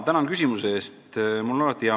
Tänan küsimuse eest!